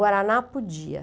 Guaraná podia.